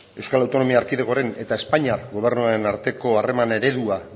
euskal autonomia erkidegoaren eta espainiar gobernuaren arteko harreman eredua